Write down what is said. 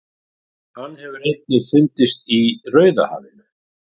Hann hefur einnig fundist í Rauðahafinu.